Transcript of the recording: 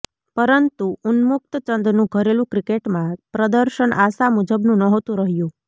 પરંતુ ઉન્મુક્ત ચંદનું ઘરેલુ ક્રિકેટમાં પ્રદર્શન આશા મુજબનું નહોતું રહ્યું